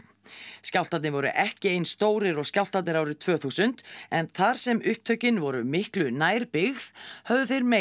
skjálftarnir voru ekki eins stórir og skjálftarnir árið tvö þúsund en þar sem upptökin voru miklu nær byggð höfðu þeir meiri